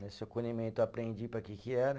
Nesse acolhimento eu aprendi para que que era.